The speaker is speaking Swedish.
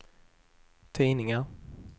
tidningar